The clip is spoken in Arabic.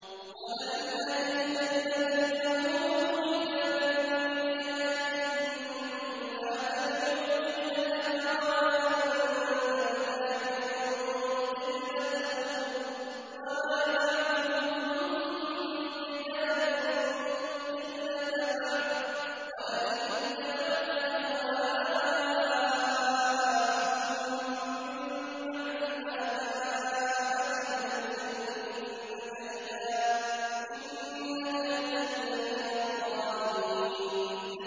وَلَئِنْ أَتَيْتَ الَّذِينَ أُوتُوا الْكِتَابَ بِكُلِّ آيَةٍ مَّا تَبِعُوا قِبْلَتَكَ ۚ وَمَا أَنتَ بِتَابِعٍ قِبْلَتَهُمْ ۚ وَمَا بَعْضُهُم بِتَابِعٍ قِبْلَةَ بَعْضٍ ۚ وَلَئِنِ اتَّبَعْتَ أَهْوَاءَهُم مِّن بَعْدِ مَا جَاءَكَ مِنَ الْعِلْمِ ۙ إِنَّكَ إِذًا لَّمِنَ الظَّالِمِينَ